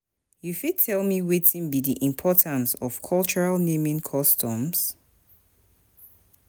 you fit tell me wetin be di importance of cultural naming customs?